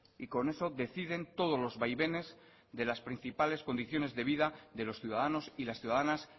y con eso deciden todos los vaivenes de las principales condiciones de vida de los ciudadanos y las ciudadanas